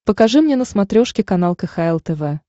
покажи мне на смотрешке канал кхл тв